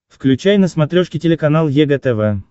включай на смотрешке телеканал егэ тв